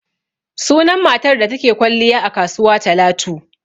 Sunan matar da ta ke kwalliya a kasuwa Talatu.